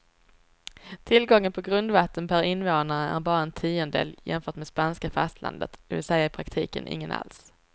Tillgången på grundvatten per invånare är bara en tiondel jämfört med spanska fastlandet, det vill säga i praktiken ingen alls.